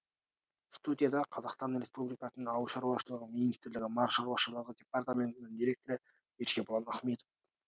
студияда қазақстан республикасының ауыл шаруашылығы министрлігі мал шаруашылығы департаментінің директоры еркебұлан ахметов